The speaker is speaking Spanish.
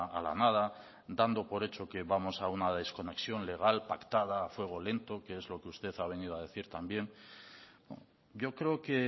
a la nada dando por hecho que vamos a una desconexión legal pactada a fuego lento que es lo que usted ha venido a decir también yo creo que